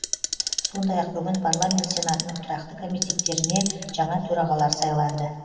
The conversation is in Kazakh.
сондай ақ бүгін парламент сенатының тұрақты комитеттеріне жаңа төрағалар сайланды